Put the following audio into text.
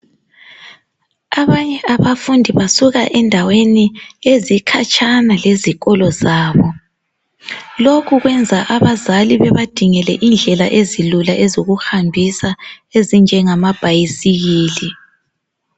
abanye abafundi basuka endaweni ezikhatshana lezikolo zabo lokhu kwenza abazali bebadingele indlela ezilula ezokuhambisa ezinjengama bhayisikili